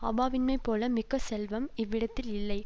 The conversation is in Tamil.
அவாவின்மை போல மிக்க செல்வம் இவ்விடத்தில் இல்லை